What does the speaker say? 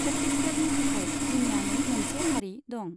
छत्तीसगढ़नि थाखाय जुनियायै मोनसे हारि दं।